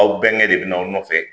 Aw bɛnkɛ de bɛn'aw nɔfɛ